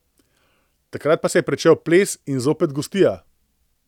Takrat pa se je pričel ples in zopet gostija.